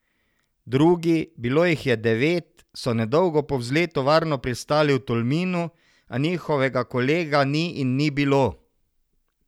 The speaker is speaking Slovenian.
Drugi, bilo jih je devet, so nedolgo po vzletu varno pristali v Tolminu, a njihovega kolega ni in ni bilo.